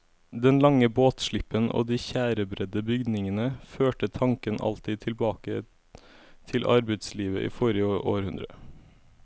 Den lange båtslippen og de tjærebredde bygningene førte tanken alltid tilbake til arbeidslivet i forrige århundre.